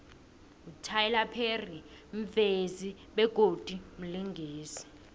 ityler perry mvezi begodu mlingisi